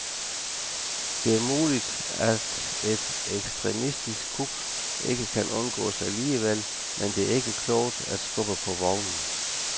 Det er muligt, at et ekstremistisk kup ikke kan undgås alligevel, men det er ikke klogt at skubbe på vognen.